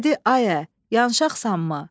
“Ayə, yanıqsanmı?”